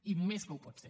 i més que ho pot ser